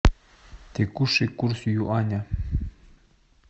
текущий курс юаня